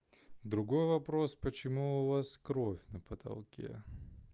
другой вопрос почему у вас кровь на потолке